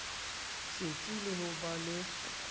setsi le ho ba le